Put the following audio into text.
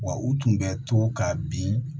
Wa u tun bɛ to ka bin